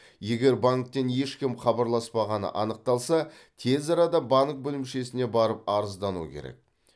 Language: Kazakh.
егер банктен ешкім хабарласпағаны анықталса тез арада банк бөлімшесіне барып арыздану керек